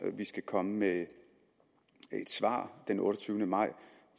vi skal komme med et svar den otteogtyvende maj